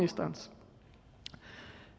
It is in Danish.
og